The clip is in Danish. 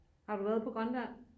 Har du været på Grønland